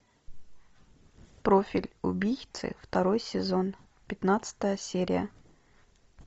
профиль убийцы второй сезон пятнадцатая серия